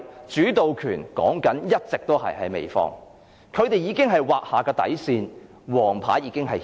主導權一直也在美方，他們已劃下底線，已亮出黃牌。